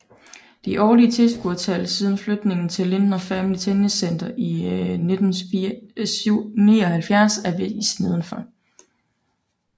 De årlige tilskuertal siden flytningen til Lindner Family Tennis Center i 1979 er vist nedenfor